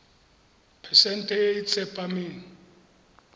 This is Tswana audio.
phesente e e tsepameng